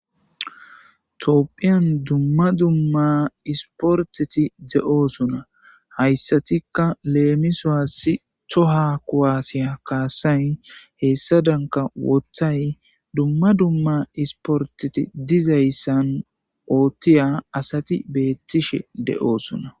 Tophphyan duma duma espporteti de'ossona hayissatika lemisuwasi toha kuwase kassayi hessadankka woththayi duma duma espporteti dizzayissan oththiya asati bettishe de'ossona.